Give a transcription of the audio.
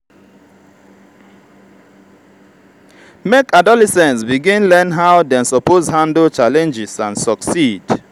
make adolescents begin learn how dem suppose handle challenges and succeed.